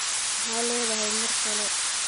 Maxa leedhy mar kale.